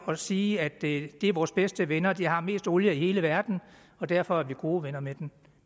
at sige at det er vores bedste venner og de har mest olie i hele verden og derfor er vi gode venner med dem